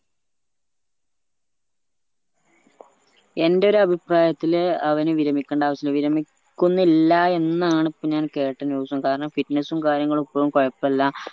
എന്റെ ഒരഭിപ്രായത്തില് അവന് വിരമിക്കേണ്ട ആവിശ്യുള്ള വിരമിക്കുന്നില്ല എന്നാണ് ഇപ്പോ ഞാൻ കേട്ട news ഉം കാരണം fitness ഉം കാര്യങ്ങളും ഇപ്പളും കൊയപ്പുല്ല